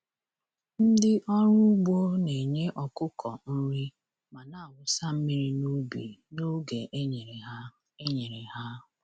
Ndị ọrụ ugbo na-enye ọkụkọ nri ma na-awụsa mmiri n’ubi n’oge e nyere ha. e nyere ha.